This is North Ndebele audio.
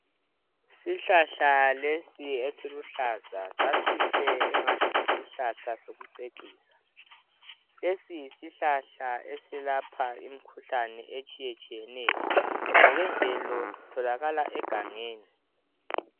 Isihlahla lesi esiluhlaza sasihle engathi yisihlahla sokucecisa lesi yisihlahla esilapha imikhuhlane etshiye tshiyeneyo ngokwemvelo sitholakala egangeni.